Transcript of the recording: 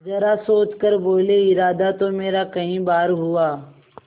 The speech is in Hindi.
जरा सोच कर बोलेइरादा तो मेरा कई बार हुआ